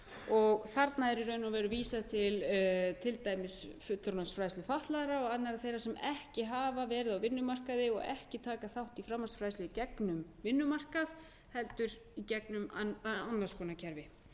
og þarna er í raun og veru vísað til til dæmis fullorðinsfræðslu fatlaðra og annarra þeirra sem ekki hafa verið á vinnumarkaði og ekki taka þátt í framhaldsfræðslu í gegnum vinnumarkað heldur í gegnum annars konar kerfi